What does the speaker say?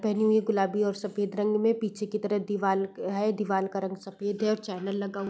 पहनी हुई है गुलाबी और सफेद रंग में पीछे की तरफ दीवाल है। दीवाल का रंग सफेद है और चैनल लगा हु --